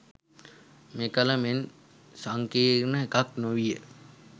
මෙකල මෙන් සංකීර්ණ එකක් නොවීය.